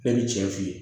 Bɛɛ ni cɛ f'i ye